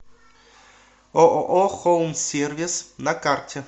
ооо холмсервис на карте